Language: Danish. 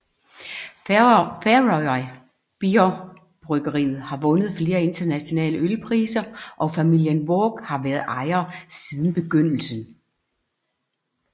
Føroya Bjór bryggeriet har vundet flere internationale ølpriser og familien Waag har været ejere siden begyndelsen